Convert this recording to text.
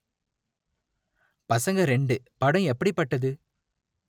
பசங்க இரண்டு படம் எப்படிப்பட்டது